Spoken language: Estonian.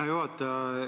Hea juhataja!